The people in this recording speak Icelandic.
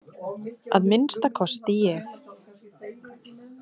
Að minnsta kosti ég.